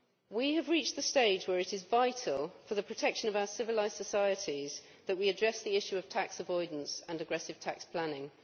We have reached the stage where it is vital for the protection of our civilised societies that we address the issue of tax avoidance and aggressive tax planning.